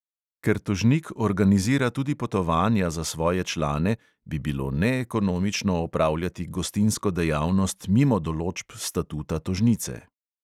Ker tožnik organizira tudi potovanja za svoje člane, bi bilo neekonomično opravljati gostinsko dejavnost mimo določb statuta tožnice.